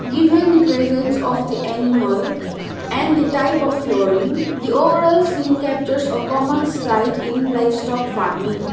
given the presence of the animal and the type of flooring the overall scene captures a common slight in livestock farming.